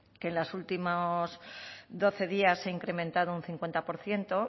que en los últimos doce días se ha incrementado un cincuenta por ciento